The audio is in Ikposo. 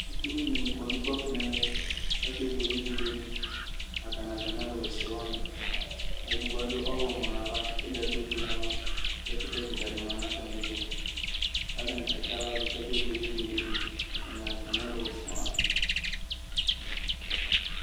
skʋl vi dini kɔnʋ ʋgbaƒɔ nʋɛmɛ kʋ akɛ bʋɛlɛ ɛbʋɛlɛ di, atani atami alʋ wɛsɛ ni, ɛdigbɔ adʋ ɔwlɔmʋ nʋ aɣa kʋ ɛdi adʋ ɔƒʋɛ nʋ aɣa, ɛkʋtɛ kikaa di manʋ atami ɛtʋ kʋ atani katsiala dʋ kʋ akɛ bʋɛlɛ ibʋɛlɛ di atani nʋ atami alʋ wɛsɛ wa